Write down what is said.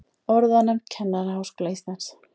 Orðanefnd Kennaraháskóla Íslands.